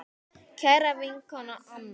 Kæra vinkona Anna.